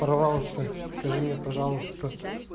порвался скажи мне пожалуйста